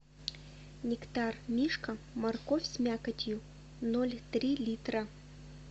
нектар мишка морковь с мякотью ноль три литра